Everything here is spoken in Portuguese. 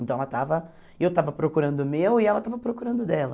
Então, ela estava eu estava procurando o meu e ela estava procurando o dela.